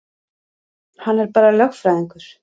Hann er bara lögfræðingur.